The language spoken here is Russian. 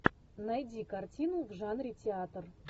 найди картину в жанре театр